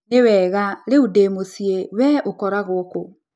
Nĩ wega, rĩu ndĩ mũciĩ. Wee ũkoragwo kũ?